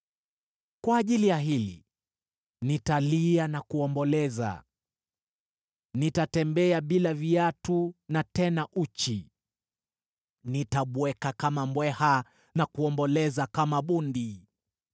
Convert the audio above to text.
Kwa ajili ya hili nitalia na kuomboleza; nitatembea bila viatu na tena uchi. Nitabweka kama mbweha na kuomboleza kama bundi.